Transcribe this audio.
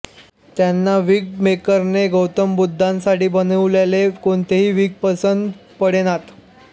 त्यांना विग मेकरने गौतम बुद्धासाठी बनवलेले कोणतेही विग पसंत पडेनात